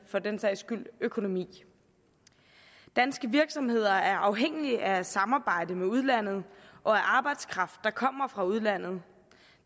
for den sags skyld økonomi danske virksomheder er afhængige af samarbejdet med udlandet og af arbejdskraft der kommer fra udlandet